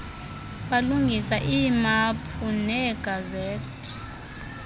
balungisa iimaphu neegazethi